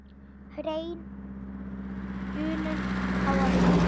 Hrein unun á að hlýða.